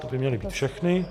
To by měly být všechny.